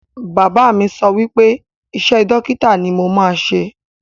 Bàbá mi sọ wípé iṣẹ́ dókítà ni mo máa ṣe